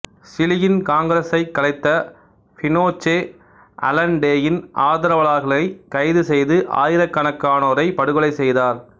சிலியின் காங்கிரசைக் கலைத்த பினோச்சே அலன்டேயின் ஆதரவாளர்களைக் கைது செய்து ஆயிரக்கணக்கானோரைப் படுகொலை செய்தார்